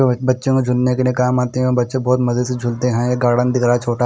बहोत बच्चों के झूनने के लिए काम आते है बच्चे बहुत मजे से झुलते है ये गार्डन दिख रहा छोटा--